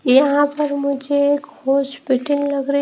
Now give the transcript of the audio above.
यहां पर मुझे एक हॉस्पिटल लग रही--